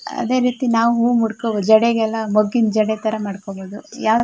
ಅದೆರೀತಿ ನಾವು ಹೂವು ಮೂಡ್ಕೋಬೋದು ಜಡೆಗೆಲ್ಲಾ ಮೊಗ್ಗಿನ್ ಜಡೆತರ ಮಾಡಕೋಬಹುದು ಯಾವ್ --